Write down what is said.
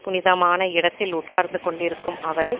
புனிதமான இடத்தில் உட்கார்ந்து கொண்டிருக்கும் அவரை